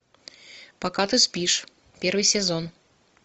пока ты спишь первый сезон